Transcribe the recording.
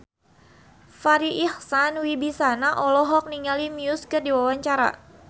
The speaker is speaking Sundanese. Farri Icksan Wibisana olohok ningali Muse keur diwawancara